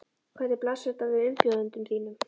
Hvernig blasir þetta við umbjóðendum þínum?